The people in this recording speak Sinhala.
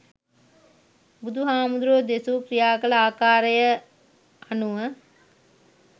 බුදු හාමුදුරුවෝ දෙසු ක්‍රියා කල ආකාරය අනුව